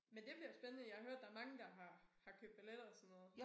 Men det bliver spændende jeg har hørt der mange der har har købt biletter og sådan noget